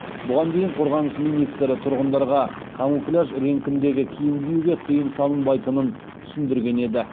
бұған дейін қорғаныс министрі тұрғындарға камуфляж реңкіндегі киім киюге тыйым салынбайтынын түсіндірген еді